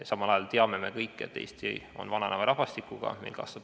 Samal ajal me kõik teame, et Eesti on vananeva rahvastikuga riik.